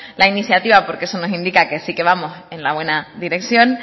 la iniciativa porque eso nos indica que sí que vamos en la buena dirección